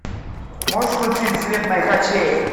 можешь включить свет моих очей